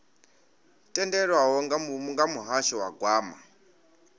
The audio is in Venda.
tendelwaho nga muhasho wa gwama